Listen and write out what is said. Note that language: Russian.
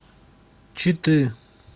читы